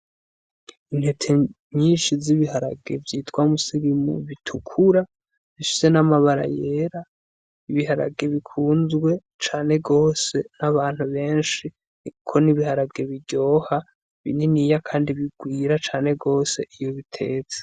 Intete nyinshi z'ibiharage vyitwa musigimu bitukura zishise n'amabara yera ibiharage bikunzwe cane gwose n'abantu benshi ni, kuko nibiharage biryoha bininiya, kandi bigwira cane gose iyo bitezse.